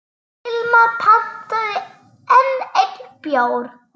Hilmar pantaði enn einn bjór.